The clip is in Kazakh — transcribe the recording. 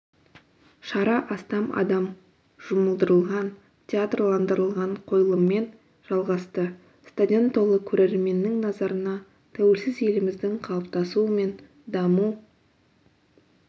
шара астам адам жұмылдырылған театрландырылған қойылыммен жалғасты стадион толы көрерменнің назарына тәуелсіз еліміздің қалыптасуы мен даму